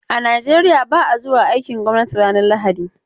A Nigeriya ba a zuwa aikin gwamnati ranar lahadi.